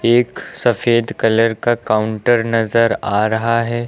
एक सफेद कलर का काउंटर नजर आ रहा है।